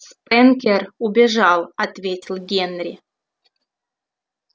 спэнкер убежал ответил генри